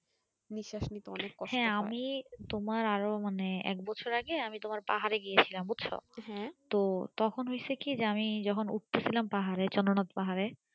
হ্যাঁ আমি তোমার আরো মানে এক বছর আগে আমি তোমার পাহাড়ে গিয়েছিলাম বুঝছো তো তখন হয়েছে কি আমি যখন উঠতেছিলাম পাহাড়ে চন্দ্রনাথ পাহাড়ে